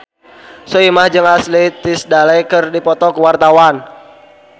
Soimah jeung Ashley Tisdale keur dipoto ku wartawan